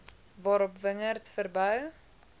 waarop wingerd verbou